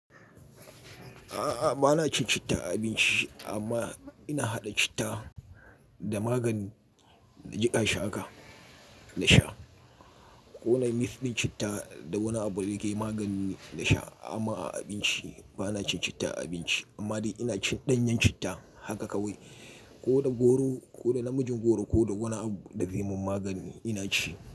A'a, bana cin citta a abinci amma ina haɗa citta da magani na jiƙa shi haka na sha. Ko nayi mix ɗin citta da wani abu da yake magani ne na sha amma a abinci bana cin citta a abinci amma dai ina cin ɗanyen citta haka kawai ko da goro ko da namiji goro ko da wani abu da zai mun magani ina ci.